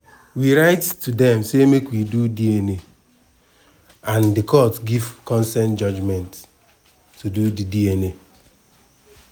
we write to dem say make we do dna and di court give consent judgement to do di dna.